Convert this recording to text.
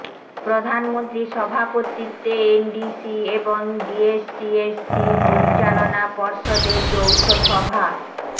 প্রধানমন্ত্রীর সভাপতিত্বে এনডিসি এবং ডিএসসিএসসির পরিচালনা পর্ষদের যৌথ সভা